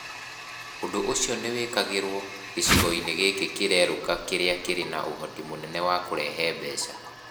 Ũndũ ũcio nĩ wĩkagĩrũo gĩcigo-inĩ gĩkĩ kĩrerũka kĩrĩa kĩrĩ na ũhoti mũnene wa kũrehe mbeca.